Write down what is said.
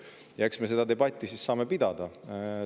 Eks me saame seda debatti siis pidada.